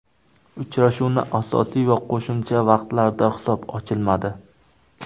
Uchrashuvning asosiy va qo‘shimcha vaqtlarida hisob ochilmadi.